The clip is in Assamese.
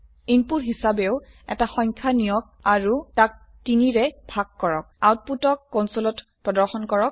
ইনপুট হিসাবেও এটা সংখ্যা নিয়ক আৰু তাক 3ৰে ভাগ কৰক আউটপুটক কনসোলত প্ৰদৰ্শন কৰক